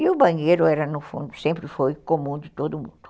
E o banheiro era, no fundo, sempre foi comum de todo mundo.